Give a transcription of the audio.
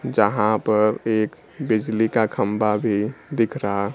जहां पर एक बिजली का खंबा भी दिख रहा--